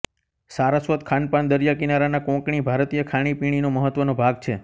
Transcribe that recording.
સારસ્વત ખાનપાન દરીયાકિનારાના કોંકણી ભારતીય ખાણીપીણીનો મહત્ત્વનો ભાગ છે